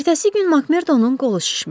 Ertəsi gün Makmerdonun qolu şişmişdi.